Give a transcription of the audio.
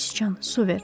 Göy sıçan su ver.